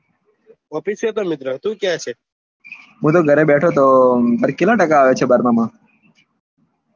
office એ હતો મિત્ર તું ક્યાં છે હું તો ઘરે બેઠો તો તારે કેટલા ટકા આવ્યા છે બારમા માં